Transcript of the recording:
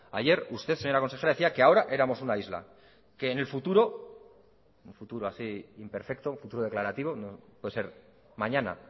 ayer usted señora consejera decía que ahora éramos una isla que en el futuro en un futuro así imperfecto un futuro declarativo puede ser mañana